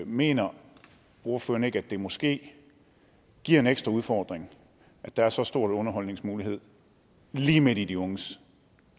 mener ordføreren ikke at det måske giver en ekstra udfordring at der er så store underholdningsmuligheder lige midt i de unges